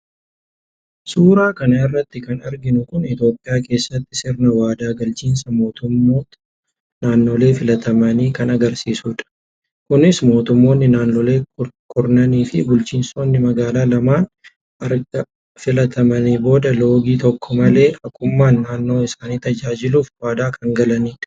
Suuraa kan irratti kan arginu Kun itiyoophiyaa keessatti sirna waadaa galchiinsa mootummoota naannolee filatamanii kan agarsiisu dha. Kunis mootummoonni naannolee kurnaniifi bulchiinsonni magaalaa lamman arga filatamaniin booda loogii tokko malee haqummaan naannoo isaanii tajaajiluuf waadaa kan galanidha